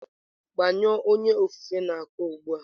Gbanyụọ onye ofufe n'uko ugbu a!